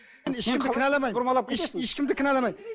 ешкімді кінәламаймын